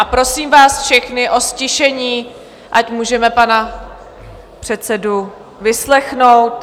A prosím vás všechny o ztišení, ať můžeme pana předsedu vyslechnout.